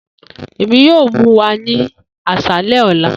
Emi yoo mu wa ni aṣalẹ ọla